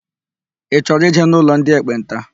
Ị chọrọ ịje n'ụlọ ndị ekpenta?